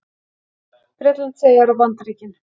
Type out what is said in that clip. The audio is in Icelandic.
Bretlandseyjar og Bandaríkin.